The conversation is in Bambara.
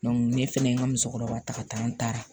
ne fɛnɛ ye n ka musokɔrɔba ta ka taa n taara